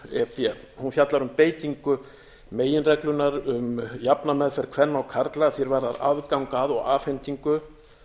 e b hún fjallar um beitingu meginreglunnar um jafna meðferð kvenna og karla að því er varðar aðgang að og afhendingu